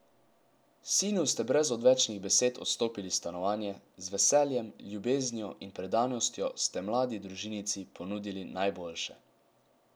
Sinu ste brez odvečnih besed odstopili stanovanje, z veseljem, ljubeznijo in predanostjo ste mladi družinici ponudili najboljše.